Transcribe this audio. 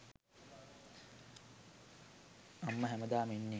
අම්මා හැමදාම ඉන්නෙ